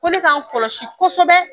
Ko ne k'an kɔlɔsi kosɛbɛ